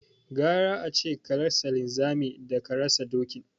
Gara ace ka rasa linzami daka rasa dokin